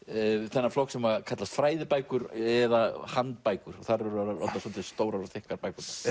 þennan flokk sem kallast fræðibækur eða handbækur og þar þær orðnar svolítið stórar og þykkar bækurnar